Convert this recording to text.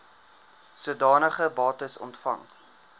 sodanige bates ontvang